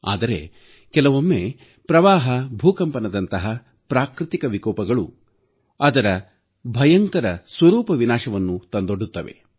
ಆದರೆ ಕೆಲವೊಮ್ಮೆ ಪ್ರವಾಹ ಭೂಕಂಪನದಂತಹ ಪ್ರಾಕೃತಿಕ ವಿಕೋಪಗಳು ಅದರ ಭಯಂಕರ ಸ್ವರೂಪ ವಿನಾಶವನ್ನು ತಂದೊಡ್ಡುತ್ತವೆ